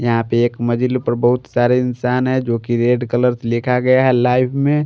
यहां पे एक मजिल पर बहुत सारे इंसान हैजो कि रेड कलर लिखा गया है लाइव में।